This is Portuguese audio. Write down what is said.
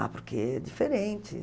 Ah, porque é diferente.